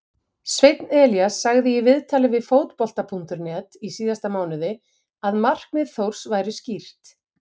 Sveinn Elías sagði í viðtali við Fótbolta.net í síðasta mánuði að markmið Þórs væri skýrt.